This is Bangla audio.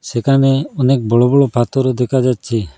যেখানে অনেক বড়ো বড়ো পাথরও দেখা যাচ্ছে।